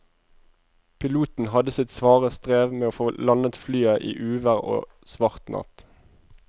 Piloten hadde sitt svare strev med å få landet flyet i uvær og svart natt.